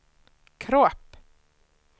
kropp